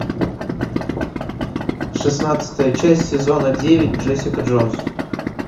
шестнадцатая часть сезона девять джессика джонс